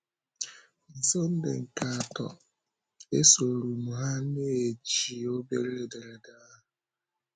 Na Sunday nke atọ ya, esòrọ m ha, na-eji obere ederede ahụ.